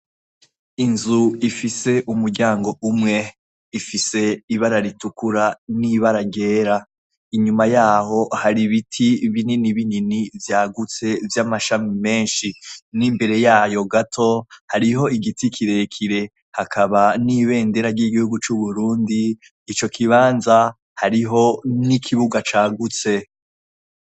Inzu ifise umuryango umwe ifise ibara ritukura n'ibara ryera, inyuma yaho hari ibiti binini binini byagutse by'amashami menshi n'imbere yayo gato hariho igiti kirekire hakaba n'ibendera ry'igihugu c' uburundi ico kibanza hariho n'ikibuga cagutse.